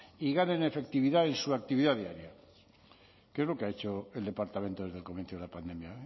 y ganen en efectividad en su actividad diaria qué es lo que ha hecho el departamento desde el comienzo de la pandemia